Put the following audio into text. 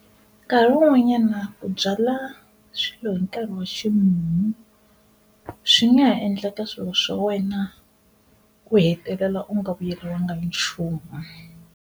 Nkarhi wun'wanyana ku byala swilo hi nkarhi wa ximumu swi nga ha endlaka swilo swa wena ku hetelela u nga vuyeriwanga hi nchumu.